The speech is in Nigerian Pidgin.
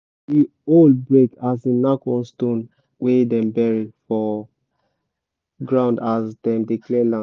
the hoe break as e knack one stone wey dem bury for ground as dem dey clear land